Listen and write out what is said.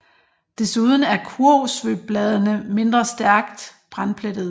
Desuden er kurvsvøbbladene mindre stærkt brandplettede